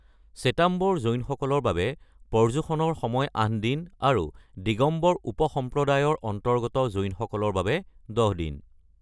শ্বেতাম্বৰ জৈনসকলৰ বাবে পৰ্যুষণৰ সময় ৮ দিন আৰু দিগম্বৰ উপসম্প্ৰদায়ৰ অন্তৰ্গত জৈনসকলৰ বাবে ১০ দিন।